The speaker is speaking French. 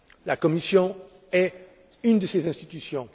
La Commission est l'une de ces institutions.